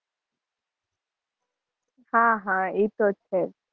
હાં હાં ઇ તો છે.